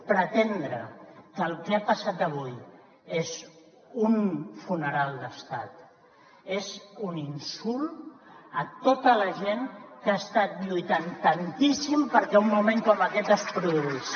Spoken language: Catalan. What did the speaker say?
pretendre que el que ha passat avui és un funeral d’estat és un insult a tota la gent que ha estat lluitant tantíssim perquè un moment com aquest es produís